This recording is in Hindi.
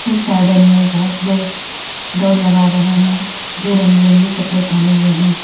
इस गार्डन में बहुत लोग दौड़ लगा रहे हैं जो रंग बिरंगी कपड़े पहने हुए हैं।